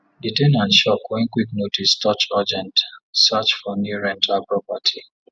the ten ant shock when quick notice touch urgent search for new rental property